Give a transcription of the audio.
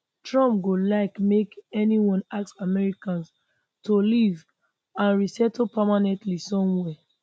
trump go like make anyone ask americans to leave and resettle permanently somewhere